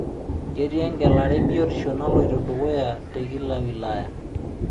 Ketii engelari e biotisho naloito dukuya te kila wilaya.